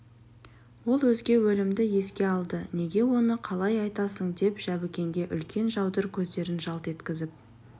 ол өзге өлімді еске алды неге оны қалай айтасың деп жәбікенге үлкен жаудыр көздерін жалт еткізіп